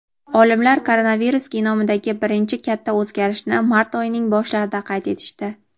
Olimlar koronavirus genomidagi birinchi katta o‘zgarishni mart oyining boshlarida qayd etishdi.